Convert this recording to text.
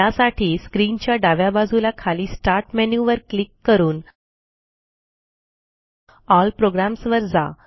त्यासाठी स्क्रीनच्या डाव्या बाजूला खाली स्टार्ट मेनू वर क्लिक करून एल Programsवर जा